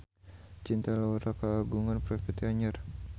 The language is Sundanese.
Cinta Laura kagungan properti anyar